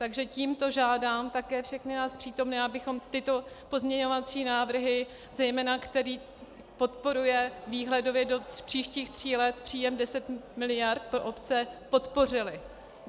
Takže tímto žádám také všechny nás přítomné, abychom tyto pozměňovací návrhy, zejména který podporuje výhledově do příštích tří let příjem deset miliard pro obce, podpořili.